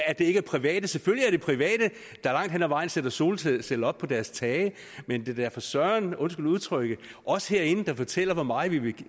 at det ikke er private selvfølgelig er det private der langt hen ad vejen sætter solceller op på deres tage men det er da for søren undskyld udtrykket os herinde der fortæller hvor meget vi vil